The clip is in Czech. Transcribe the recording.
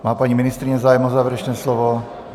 Má paní ministryně zájem o závěrečné slovo?